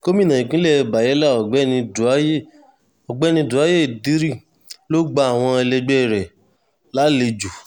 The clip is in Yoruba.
gomina ìpínlẹ̀ bayela ọ̀gbẹ́ni dáúyé ọ̀gbẹ́ni dáúyé diri ló gba àwọn ẹlẹgbẹ́ rẹ̀ lálejò